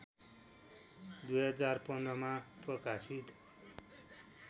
२०१५ मा प्रकाशित